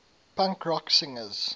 punk rock singers